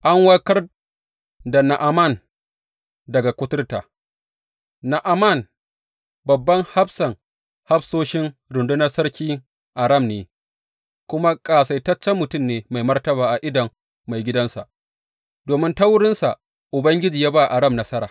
An warkar da Na’aman daga kuturta Na’aman babban hafsan hafsoshin rundunar sarkin Aram ne, kuma ƙasaitaccen mutum ne mai martaba a idon maigidansa, domin ta wurinsa Ubangiji ya ba Aram nasara.